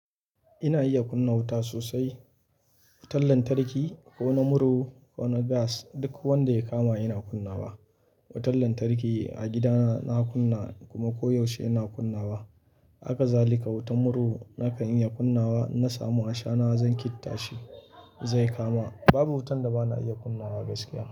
Ina iya kunna wuta sosai. Wutan lantarki ko na murhu ko na gas duk wanda ya kama ina kunnawa Wutan lantarki a gidana na kunna kuma koyaushe ina kunnawa. Hakazalika, wutan murhu na kan iya kunnawa. Na samu a shana zan ƙittashi zai kama. Babu wutan da bana iya kunnawa gaskiya.